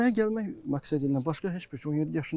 Çimməyə gəlmək məqsədiylə, başqa heç bir şey yox idi.